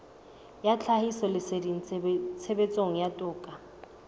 ya tlhahisoleseding tshebetsong ya toka